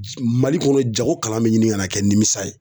J Mali kɔnɔ jago kalan be ɲini ŋana kɛ nimisa ye.